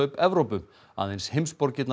Evrópu aðeins